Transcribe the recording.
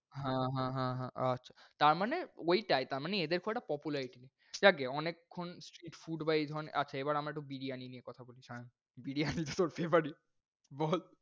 হ্যাঁ, হ্যাঁ, হ্যাঁ, হ্যাঁ আচ্ছা। তারমানে ওইটাই তারমানে এদের খুব একটা popularity নেই। জাজ্ঞে অনেকক্ষণ street food বা এই ধরনের আচ্ছা এবার একটু বিরিয়ানি নিয়ে কথা বলি সায়ন। বিরিয়ানি তোর favourite বল?